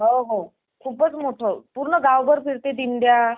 हो हो खूपच मोठं. पूर्ण गावभर फिरते दिंड्या